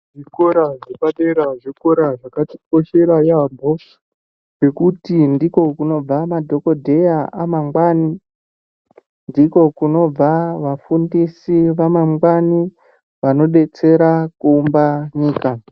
Zvikora zvepadera zvikora zvakatikoshera yaambo ngekuti ndiko kunobva madhokodheya amangwani, ndiko kunobva vafundisi vamangwani vanodetsera kuumbe nyika.